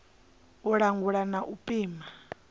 u langula na u pima